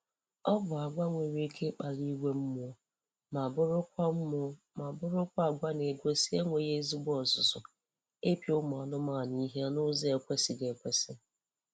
Ọ bụ agwa nwere ike ịkpali iwe mmụọ ma bụrụkwa mmụọ ma bụrụkwa agwa na-egosi enweghị ezigbo ọzụzụ ịpịa ụmụ anụmanụ ihe n'ụzọ ekwesịghị ekwesị